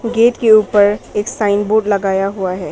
Gate के ऊपर एक साइन बोर्ड लगाया हुआ हैं।